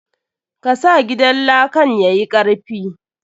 Ka sa gidan lakan yayi karfi.